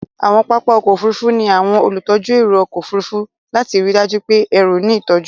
Àwọn pápá ọkọ̀ Òfurufú ní àwọn olùtọ́jú ẹrù ọkọ̀ Òfurufú lati ríi dájú pé ẹrù ní ìtọ́jú.